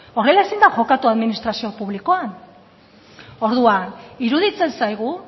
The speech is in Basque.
horrela ezin da jokatu administrazio publikoan orduan iruditzen zaigu